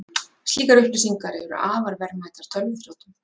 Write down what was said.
Slíkar upplýsingar eru afar verðmætar tölvuþrjótum